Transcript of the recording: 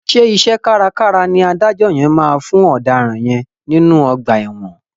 Ṣé iṣẹ́ kárakára ni adájọ́ yẹn máa fún ọ̀daràn yẹn nínú ọgbà ẹ̀wọ̀n.